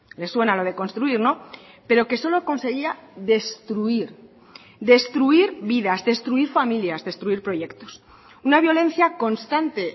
le suena lo de construir no pero que solo conseguía destruir destruir vidas destruir familias destruir proyectos una violencia constante